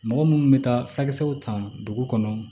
Mɔgɔ munnu bɛ taa fakisɛw ta dugu kɔnɔ